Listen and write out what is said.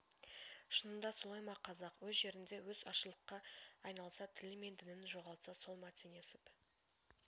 шынында солай ма қазақ өз жерінде өз азшылыққа айналса тілі мен дінін жоғалтса сол ма теңесіп